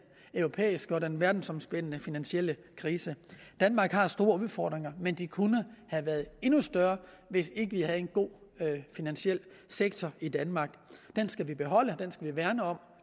europæiske og den verdensomspændende finansielle krise danmark har store udfordringer men de kunne have været endnu større hvis ikke vi havde en god finansiel sektor i danmark den skal vi beholde